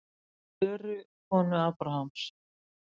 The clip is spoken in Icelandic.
Söru, konu Abrahams.